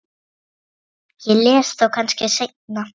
Ég les þá kannski seinna.